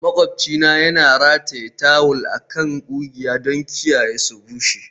Maƙwabcina yana rataye tawul a kan ƙugiya don kiyaye su bushe.